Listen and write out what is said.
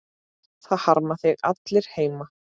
Það harma þig allir heima.